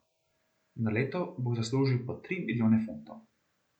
Na leto bo zaslužil po tri milijone funtov.